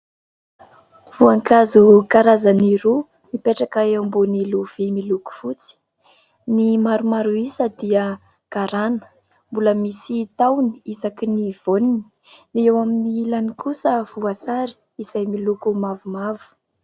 Voankazo karazany roa mipetraka eo ambony lovia miloko fotsy : ny maromaro isa dia garana mbola misy tahony isaky ny voany, eo amin'ny ilany kosa voasary izay miloko mavomavo.